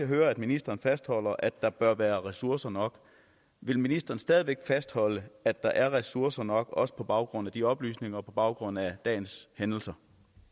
hører at ministeren fastholder at der bør være ressourcer nok vil ministeren stadig væk fastholde at der er ressourcer nok også på baggrund af de oplysninger og på baggrund af dagens hændelser